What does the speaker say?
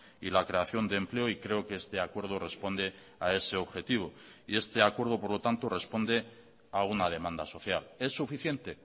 y la creación de empleo y creo que este acuerdo responde a ese objetivo y este acuerdo por lo tanto responde a una demanda social es suficiente